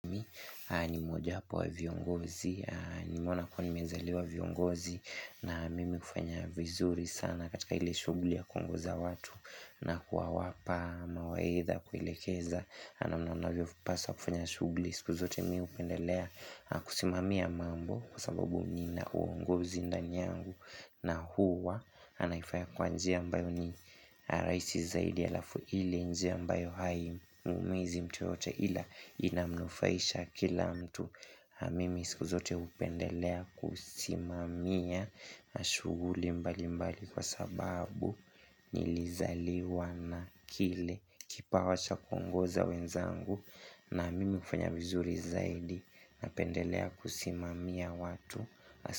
Nimmoja wapo wa viongozi, nimeona kuwa nimezaliwa viongozi na mimi kufanya vizuri sana katika ile shughli ya kuongoza watu na kuwa wapa mawaidha kuelekeza. Nanamna mnavyo paswa kufanya shughli, siku zote miu pendelea kusimamia mambo kwasababu nina uongozi ndani yangu na huwa. Nanaifaya kwa njia ambayo ni rahisi zaidi alafuile njia mbayo hai muumizi mtu yote ila inamnufaisha kila mtu namimi siku zote hupendelea kusimamia na shughuli mbali mbali kwa sababu nilizaliwa na kile Kipa wacha kuongoza wenzangu na mimi hufanya vizuri zaidi na pendelea kusimamia watu.